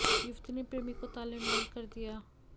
युवती ने प्रेमी को ताले में बंद कर दिया